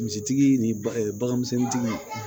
Misi tigi ni ba bagan misɛnnintigiw